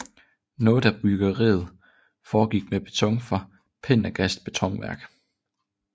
Noget af byggeriet foregik med beton fra Pendergasts betonværk